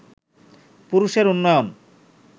পুরুষের উন্নয়ন